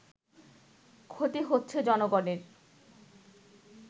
ক্ষতি হচ্ছে জনগণের”